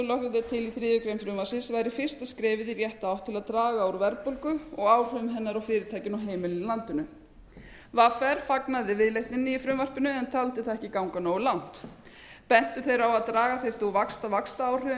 er til í þriðju greinar frumvarpsins væri fara skrefið í rétta átt til að draga úr verðbólgu og áhrifum hennar á fyrirtækin og heimilin í landinu vr fagnaði viðleitninni í frumvarpinu en taldi það ekki ganga nógu langt bentu þeir á að draga þyrfti úr vaxtaáhrifum